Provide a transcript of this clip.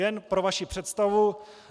Jen pro vaši představu.